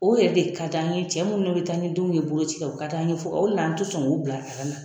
O yɛrɛ de ka d'an ye, cɛ minnu bɛ taa ni denw ye bolo ci la, u ka d'an ye fɔ o de la, an tɛ sɔn k'u bila na